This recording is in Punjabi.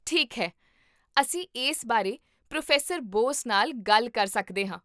ਠੀਕ ਹੈ, ਅਸੀਂ ਇਸ ਬਾਰੇ ਪ੍ਰੋਫੈਸਰ ਬੋਸ ਨਾਲ ਗੱਲ ਕਰ ਸਕਦੇ ਹਾਂ